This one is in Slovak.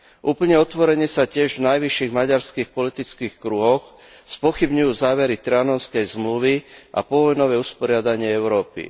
Úplne otvorene sa tiež v najvyšších maďarských politických kruhoch spochybňujú závery Trianonskej zmluvy a povojnové usporiadanie Európy.